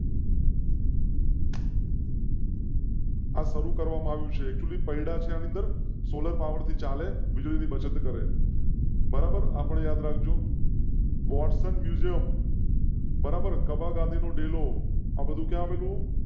આજ શરૂ કરવામાં આવી છે. કુલી પરિણામ સોલર પાવરથી ચાલે. વીજળી ની બચત કરેં. બરાબર આપણે યાદ રાખ જો વોટ્સન મ્યુઝિયમ બરાબર કબા ગાંધી નો ડેલો